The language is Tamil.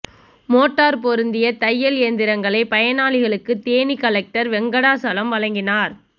மோட்டார் பொருத்திய தையல் இயந்திரங்களை பயனாளிகளுக்கு தேனி கலெக்டர் வெங்கடாசலம் வழங்கினார்